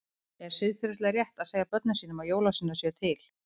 Er siðferðilega rétt að segja börnum sínum að jólasveinar séu til?